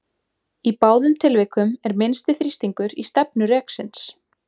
Í báðum tilvikum er minnsti þrýstingur í stefnu reksins.